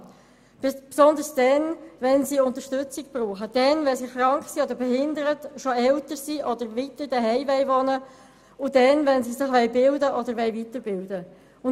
Insbesondere dann, wenn sie Unterstützung benötigen, wenn sie krank, behindert oder schon älter sind und weiterhin zu Hause wohnen bleiben möchten, oder wenn sie sich aus- oder weiterbilden wollen.